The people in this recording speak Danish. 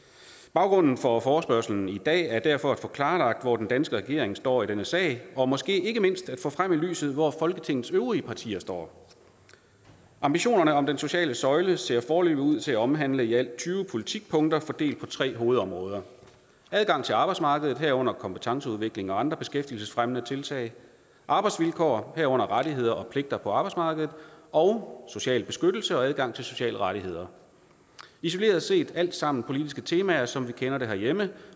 baggrunden for forespørgslen i dag er derfor at få klarlagt hvor den danske regering står i denne sag og måske ikke mindst at få frem i lyset hvor folketingets øvrige partier står ambitionerne om den sociale søjle ser foreløbig ud til at omhandle i alt tyve politikpunkter fordelt på tre hovedområder adgang til arbejdsmarkedet herunder kompetenceudvikling og andre beskæftigelsesfremmende tiltag arbejdsvilkår herunder rettigheder og pligter på arbejdsmarkedet og social beskyttelse og adgang til sociale rettigheder isoleret set er det alle sammen politiske temaer som vi kender dem herhjemme